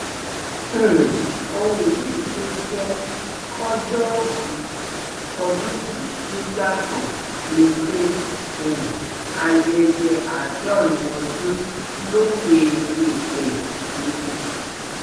um ohun míín tó jẹ kọjọòbí tọdụn yìí tún yàtọ ni pé um ayẹyẹ àádọrin ọdún lókè eèpẹ ni